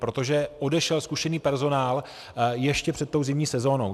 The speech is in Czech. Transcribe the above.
Protože odešel zkušený personál ještě před zimní sezónou.